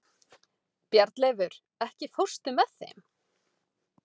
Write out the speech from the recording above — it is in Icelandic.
Bjarnleifur, ekki fórstu með þeim?